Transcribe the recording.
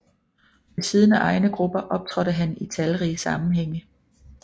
Ved siden af egne grupper optrådte han i talrige sammenhænge